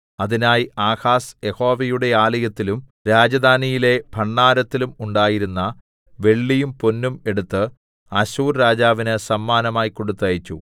അതിനായി ആഹാസ് യഹോവയുടെ ആലയത്തിലും രാജധാനിയിലെ ഭണ്ഡാരത്തിലും ഉണ്ടായിരുന്ന വെള്ളിയും പൊന്നും എടുത്ത് അശ്ശൂർ രാജാവിന് സമ്മാനമായി കൊടുത്തയച്ചു